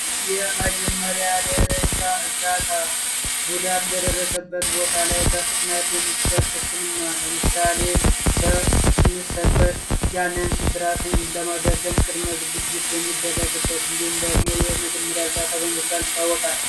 የመጀመሪያ ደረጃ እርዳታ ጉዳት በደረሰበት ቦታ ላይ በፍጥነት የሚሰጠው ህክምና ለምሳሌ ሰበር ያንን ስብራትን ለማጋገም ቅድመ ዝግጅት የሚደረግበት እንዲሁም ደግሞ የመጀመሪያ